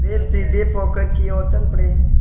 वे सीधे पोखर की ओर चल पड़े